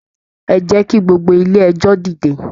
E jẹ kí gbogbo ilé ẹjọ dìde?